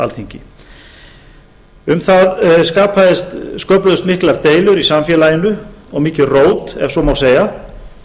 alþingi um það sköpuðust miklar deilur í samfélaginu og mikið rót ef svo má segja